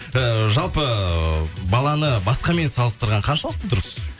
ыыы жалпы баланы басқамен салыстырған қаншалықты дұрыс